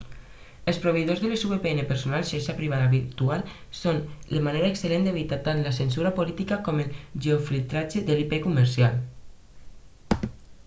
els proveïdors de les vpn personals xarxa privada virtual són una manera excel·lent d'evitar tant la censura política com el geo-filtratge d'ip comercial